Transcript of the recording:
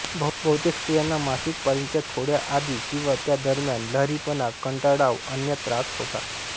बहुतेक स्त्रियांना मासिक पाळीच्या थोड्या आधी किंवा त्या दरम्यान लहरीपणा कंटाळाव अन्य त्रास होतात